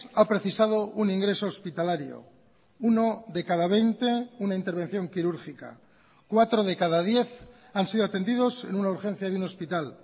ha precisado un ingreso hospitalario uno de cada veinte una intervención quirúrgica cuatro de cada diez han sido atendidos en una urgencia de un hospital